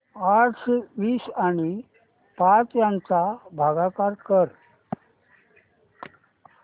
अठराशे वीस आणि पाच यांचा भागाकार कर